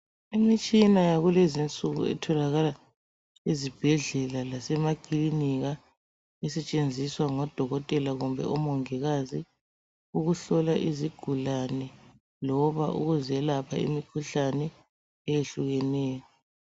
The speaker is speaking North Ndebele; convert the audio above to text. imitshina yakulezi insuku itholakala ezibhedlela lase maklinika esethenziswa ngodokotela kumbe omongilkazi ukuhlola izigulane loba ukuzelapha imikhuhlane etshiyeneyo